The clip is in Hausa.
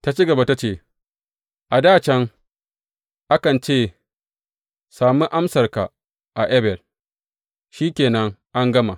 Ta ci gaba ta ce, A dā can, akan ce, Sami amsarka a Abel,’ shi ke nan an gama.